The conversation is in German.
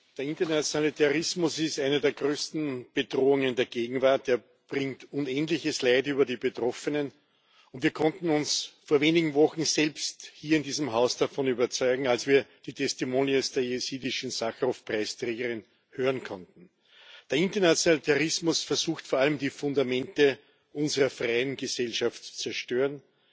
Der internationale Terrorismus ist eine der größten Bedrohungen der Gegenwart, er bringt unendliches Leid über die Betroffenen. Wir konnten uns vor wenigen Wochen selbst hier in diesem Haus davon überzeugen, als wir die der jesidischen Sacharow Preisträgerin hören konnten. Der internationale Terrorismus versucht vor allem, die Fundamente unserer freien Gesellschaft zu zerstören.